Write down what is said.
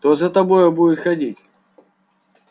кто за тобою будет ходить